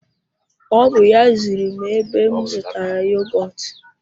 O bú ya ziri m ebe m zụtara yogọtu